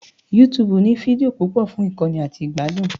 YouTube ní fídíò púpọ̀ fún kíkọ́ni àti ìgbádùn